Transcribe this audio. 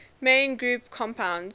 main group compounds